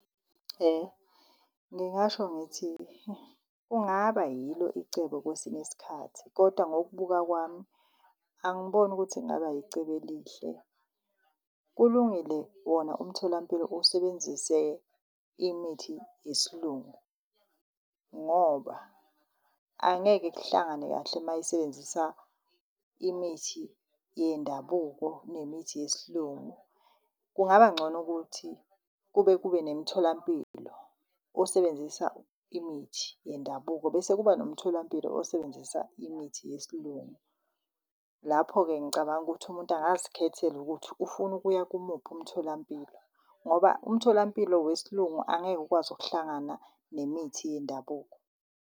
Ngingasho ngithi kungaba yilo icebo kwesinye isikhathi kodwa ngokubuka kwami angiboni ukuthi kungaba icebo elihle. Kulungile wona umtholampilo usebenzise imithi yesiLungu ngoba angeke kuhlangane kahle mayisebenzisa imithi yendabuko nemithi yesiLungu. Kungabangcono ukuthi kube kube nemitholampilo osebenzisa imithi yendabuko bese kuba nomtholampilo osebenzisa imithi yesiLungu. Lapho-ke, ngicabanga ukuthi umuntu angazikhethela ukuthi ufuna ukuya kumuphi umtholampilo ngoba umtholampilo wesiLungu angeke ukwazi ukuhlangana nemithi yendabuko.